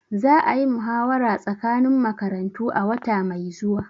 Za a yi muhawara tsakanin makarantu a wata mai zuwa.